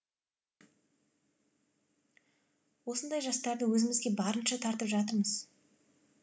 осындай жастарды өзімізге барынша тартып жатырмыз